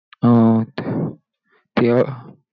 अं ते अं